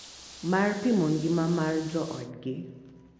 Mar pimo ngima mar joodgi .